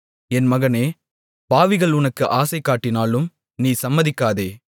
என் மகனே பாவிகள் உனக்கு ஆசைகாட்டினாலும் நீ சம்மதிக்காதே